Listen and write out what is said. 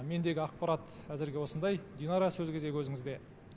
мендегі ақпарат әзірге осындай динара сөз кезегі өзіңізде